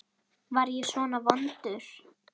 Var ég svona vondur?